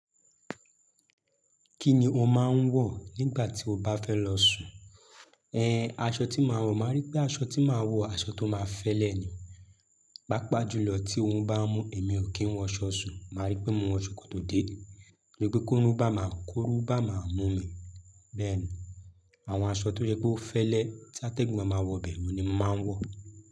Kí ni o máa ń wọ̀ nígbà tí o bá fẹ́ lọ sùn? Ehn, aṣọ tí màá wọ̀, màá rí pé aṣọ tí màá wọ̀, aṣọ tó máa fẹ́lẹ̀ ni. Pápá jùlọ tí ooru bá mú èmi ò kí ń wọ aṣọ sùn, màá rí pé mo ń wọ ṣòkòtò dé. Torí pé kóru bá máa, kóru bá máa mú mi. Bẹ́ẹ̀ni, àwọn aṣọ tó jẹ́ pé ó fẹ́lẹ́ tí atẹ́gùn má máa wọ bẹ̀ òun ni màá ń wọ̀.